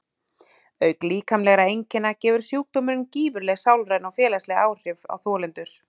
auk líkamlegra einkenna hefur sjúkdómurinn gífurleg sálræn og félagsleg áhrif á þolendur